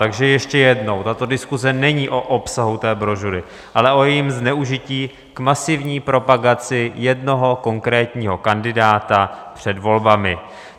Takže ještě jednou, tato diskuse není o obsahu té brožury, ale o jejím zneužití k masivní propagaci jednoho konkrétního kandidáta před volbami.